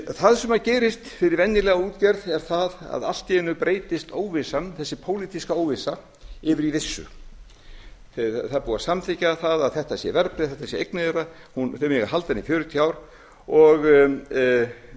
það sem gerist fyrir venjulega útgerð er það að allt í einu breytist óvissan þessi pólitíska óvissa yfir í vissu það er búið að samþykkja það að þetta sé verðbréf þetta sé eignin þeirra þeir megi halda bent í fjörutíu ár og þetta er